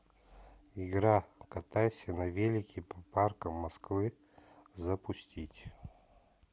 игра катайся на велике по паркам москвы запустить